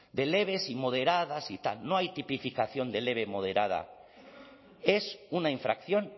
de leves y moderadas y tal no hay tipificación de leve moderada es una infracción